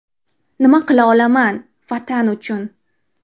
Nima qila olaman Vatan uchun?